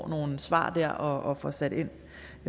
nogle svar der og får sat ind